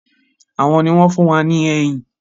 Àwọn ni wọn fun wá ní ẹyìn